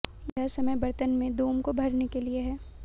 यह समय बर्तन में दुम को भरने के लिए है